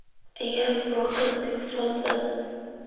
ciyaar podcast-kaas fadlan